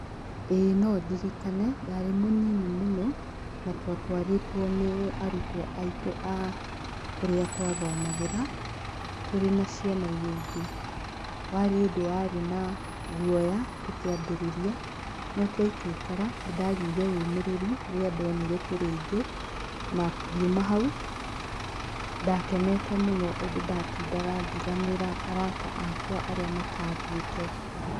ĩĩ no ndirikane. Ndarĩ mũnini mũno, na twatwarĩtwo nĩ arutwo aitũ a kũrĩa twathomagĩra, tũrĩ na ciana iria ingĩ. warĩ ũndũ warĩ na guoya tũkĩambĩrĩria, no twaikaikara, nĩ ndagĩire ũmĩrĩru rĩrĩa ndonire tũrĩ aingĩ, na ngiuma hau ndakenete mũno ũndũ ndatindaga ngĩganĩra arata akwa arĩa matathiĩte.